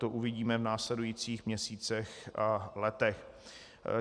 To uvidíme v následujících měsících a letech.